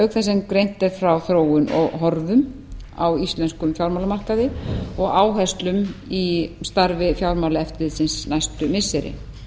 þess sem greint er frá þróun og horfum á íslenskum fjármálamarkaði og áherslum í starfi fjármálaeftirlitsins næstu missiri